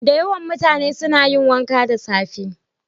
Da yawan mutane suna yin wanka da safe.